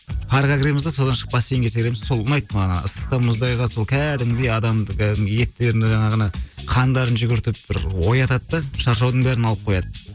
парға кіреміз де содан шығып бассейнге секіреміз сол ұнайды маған ана ыстықтан мұздайға сол кәдімгідей адамды кәдімгідей еттерін жаңағы ана қандарын жүгіртіп бір оятады да шаршаудың бәрін алып қояды